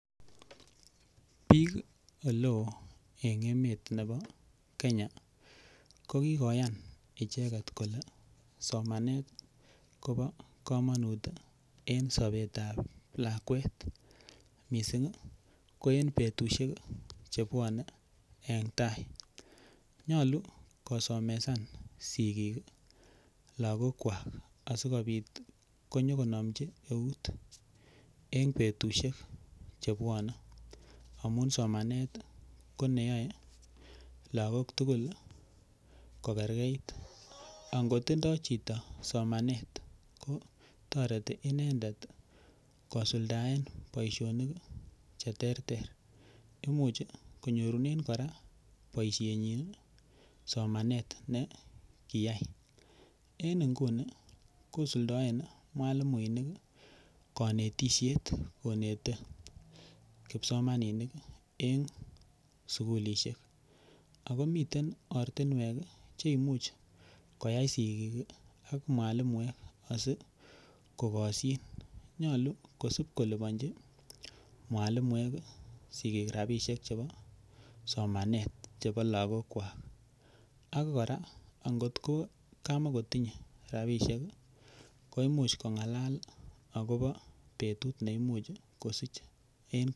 Bik oleo en emetab Kenya ko koyan kole somanet kobo komonut en sobet ab lakwet mising ko en betusiek Che bwone en tai nyolu kosomesan sigik lagokwak asikobit konyo konomchi eut en betusiek Che bwone amun somanet ko ne yoe lagok tugul kogergeit angot kotindoi chito somanet ko toreti inendet kosuldaen boisionik Che terter Imuch konyorunen kora boisienyi somanet ne kiyai en nguni kosuldaen mwalimuinik konetisiet konete kipsomaninik en sukulisiek ako miten ortinwek Che Imuch koyai sigik ak mwalimuek asi kogosyin nyolu kosib kolipanji mwalimuek sigik rabisiek chebo somanet chebo lagokwak ak kora angot kama kotinyei rabisiek ko Imuch kongalal agobo betut ne Imuch kosich